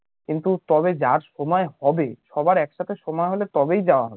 কিন্তু তবে যার সময় হবে সবার একসাথে সময় হলেই তবেই যাওয়া